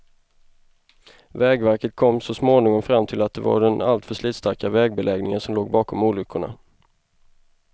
Vägverket kom så småningom fram till att det var den alltför slitstarka vägbeläggningen som låg bakom olyckorna.